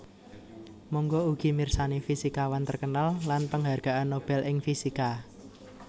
Mangga ugi mirsani Fisikawan terkenal lan Penghargaan Nobel ing Fisika